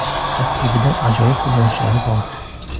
Tarkibida ajoyib futbolchilari bor.